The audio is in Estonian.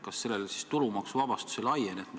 Kas sellele siis tulumaksuvabastus ei laiene?